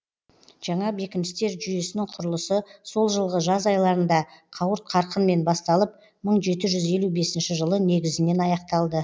жаңа бекіністер жуйесінің құрылысы сол жылғы жаз айларында қауырт қарқынмен басталып мың жеті жүз елу бесінші жылы негізінен аяқталды